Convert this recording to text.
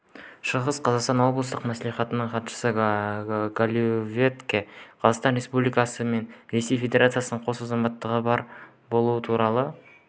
шығыс қазақстан облыстық мәслихатының хатшысы головатюкте қазақстан республикасы мен ресей федерациясының қос азаматтығы бар болуы туралы